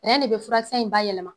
de be furakisɛ in bayɛlɛma